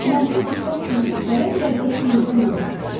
Mənfi hisslər sizi gələ biləcək xeyirdən də uzaqlaşdırır.